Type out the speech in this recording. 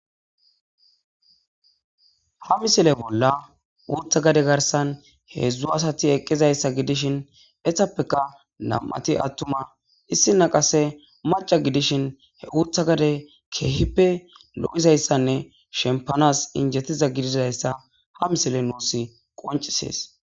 Ha misile bollan Uuththa gade garisan heedzdzu asati eqizaysa gidishin etappeka nam'ati atumma issina qase mac'a gidishin he Uuththa gade keehippe loo'izaysane shempanas injetiza gididaysa ha misile nusi qonc'ises.